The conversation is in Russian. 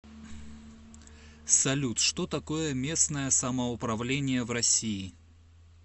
салют что такое местное самоуправление в россии